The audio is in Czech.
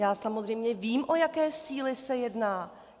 Já samozřejmě vím, o jaké síly se jedná!